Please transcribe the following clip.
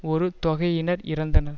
ஒரு தொகையினர் இறந்தனர்